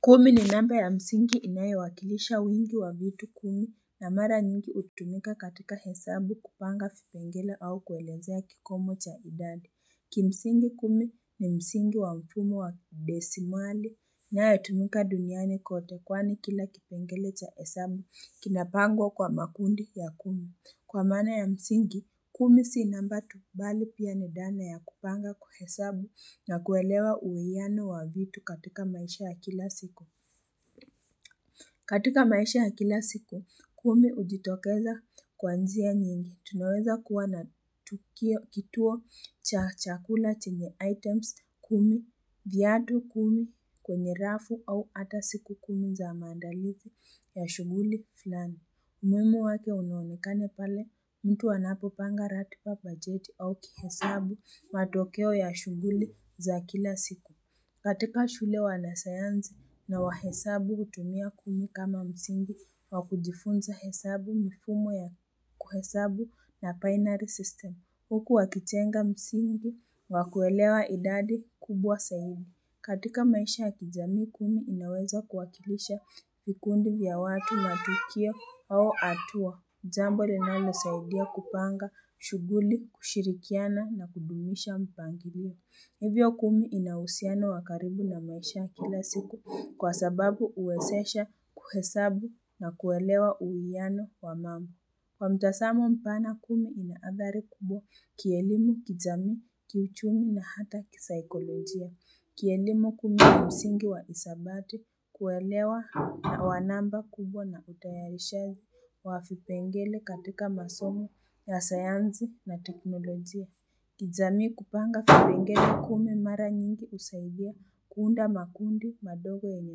Kumi ni namba ya msingi inayowakilisha wingi wavitu kumi na mara nyingi utumika katika hesabu kupanga vipengele au kuelezea kikomo cha idadi. Kimsingi kumi ni msingi wamfumo wadesimali na utumika duniani kote kwani kila kipengele cha hesabu kinapangwa kwa makundi ya kumi. Kwa maana ya msingi, kumi si namba tu bali pia ni dhana ya kupanga kuhesabu na kuelewa uwiyano wa vitu katika maisha ya kila siku. Katika maisha ya kila siku, kumi ujitokeza kwa njia nyingi. Tunaweza kuwa na tukio kituo chakula chenye items, kumi, viatu kumi, kwenye rafu au ata siku kumi za maandalizi ya shughuli fulani. Mwimu wake unaonekana pale mtu anapopanga ratiba bajeti au kihesabu matokeo ya shughuli za kila siku. Katika shule wanasayansu na wahesabu hutumia kumi kama msingi wakujifunza hesabu mifumo ya kuhesabu na binary system. Huku wakijenga msingi wakuelewa idadi kubwa zaidi. Katika maisha kijamii kumi inaweza kuwakilisha vikundi vya watu matukio au hatua. Jambo linalo saidia kupanga, shughuli, kushirikiana na kudumisha mpangilio. Hivyo kumi ina usiano wakaribu na maisha kila siku kwa sababu uezesha kuhesabu na kuelewa uiwiano wa mambo. Kwa mtazamo mpana kumi inaadhari kubwa kielimu, kijaami, kiuchumi na hata kisaikolojia. Kielimu kumi ina msingi wa isabati kuelewa na wanamba kubwa na utayarishazi wa vipengele katika masomo ya sayanzi na teknolojia. Kijamii kupanga vipengele kumi mara nyingi usaidia kuunda makundi madogo yenye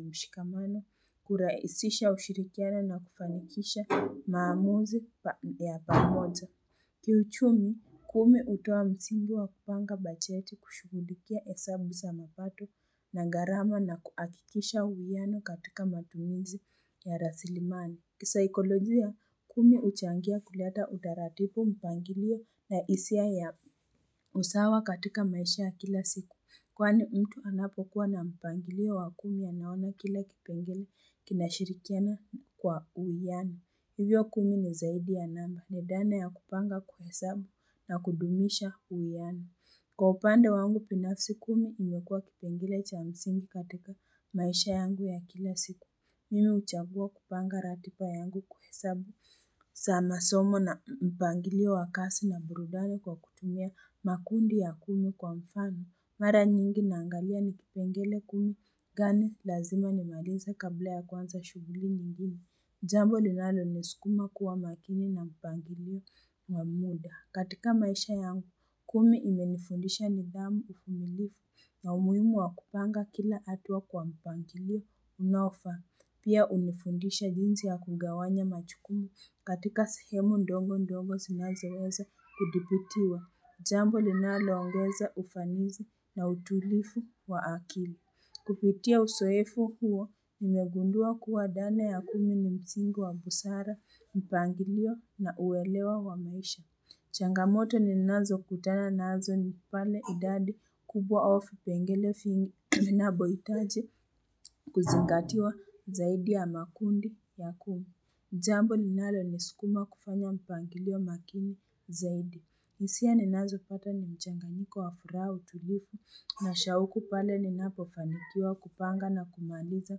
mshikamano, kuraisisha ushirikiano na kufanikisha maamuzi ya pamoja. Kiuchumi, kumi hutoa msingi wa kupanga bajeti kushughulikia hesabu za mapato na gharama na kuakikisha uwiano katika matumizi ya rasilimani. Kisaikolojia, kumi uchangia kuleta utaratibu mpangilio na hisia ya usawa katika maisha ya kila siku. Kwani mtu anapokuwa na mpangilio wa kumi anaona kila kipengele kinashirikiana kwa uwiano. Hivyo kumi ni zaidi ya namba. Nidhana ya kupanga kuhesabu na kudumisha uwiano. Kwa upande wangu binafsi kumi, imekua kipengele cha msingi katika maisha yangu ya kila siku. Mimi uchagua kupanga ratiba yangu kuhesabu. Saa somo na mpangilio wa kasi na burudani kwa kutumia makundi ya kumi kwa mfano. Mara nyingi naangalia nikipengele kumi. Ngani, lazima nimalize kabla ya kuanza shughuli nyigine. Jambo linalo niskuma kuwa makini na mpangilio wa muda. Katika maisha yangu kumi imenifundisha nidhamu uvumilivu na umuhimu wa kupanga kila hatuwa kwa mpangilio unaofa. Pia unifundisha jinsi ya kugawanya majukumu katika sehemu ndogo ndogo zinazeweza kudhibitiwa. Jambo linalo ongeza ufanizi na utulivu wa akili. Kupitia uzoefu huo, nimegundua kuwa dhana ya kumi ni msingi wa busara, mpangilio na uwelewa wa maisha. Changamoto ni nazo kutana nazo ni pale idadi kubwa au vipengele vingi vinapoitaji kuzingatiwa zaidi ya makundi ya kumi. Jambo linalo nisukuma kufanya mpangilio makini zaidi. Hisia ninazo pata ni mchanganyiko wa furaha utulivu na shauku pale ninapo fanikiwa kupanga na kumaliza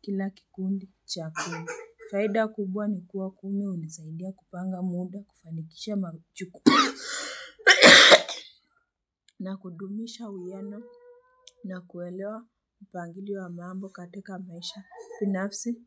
kila kikundi cha kuu. Faida kubwa ni kuwa kumi unisaidia kupanga muda kufanikisha machuku. Na kudumisha uwiano na kuelewa upangilio wa mambo katika maisha binafsi.